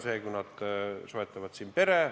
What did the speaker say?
Tore, kui nad soetavad siin pere.